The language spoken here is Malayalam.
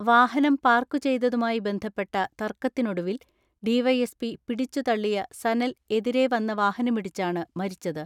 വാഹനം പാർക്കു ചെയ്തതുമായി ബന്ധപ്പെട്ട തർക്ക ത്തിനൊടുവിൽ ഡിവൈഎസ്പി പിടിച്ചു തള്ളിയ സനൽ എതിരെ വന്ന വാഹനമിടിച്ചാണ് മരിച്ചത്.